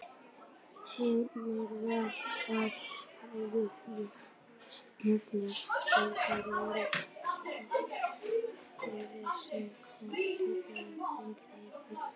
Heimir: Hvað, hafa jafnvel fleiri viljað skráð sig heldur en, en þið þurfið?